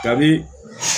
Kabi